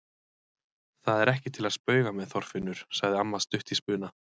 Það er ekki til að spauga með, Þorfinnur! sagði amma stutt í spuna.